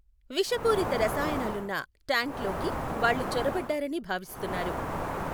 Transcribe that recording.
విషపూరిత రసాయనాలున్న ట్యాంక్ లోకి వాళ్ళు చొరబడ్డారని భావిస్తున్నారు.